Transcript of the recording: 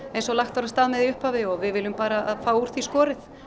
eins og lagt var af stað með í upphafi og við viljum bara fá úr því skorið